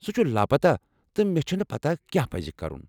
سُہ چھُ لاپتہ تہٕ مےٚ چھُنہٕ پتاہ کیٛاہ پزِ كرُن ۔